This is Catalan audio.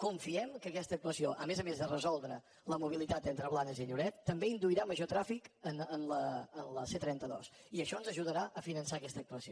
confiem que questa actuació a més a més de resoldre la mobilitat entre blanes i lloret també induirà a major trànsit en la c trenta dos i això ens ajudarà a finançar aquesta actuació